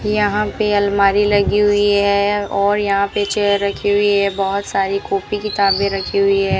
यहां पे अलमारी लगी हुई है और यहां पे चेयर रखी हुई है बहोत सारी कॉपी किताबें रखी हुई है।